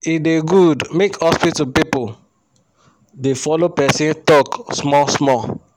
e da good make hospital pipu da follo persin talk small small